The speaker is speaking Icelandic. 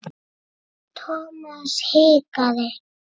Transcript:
Thomas hikaði.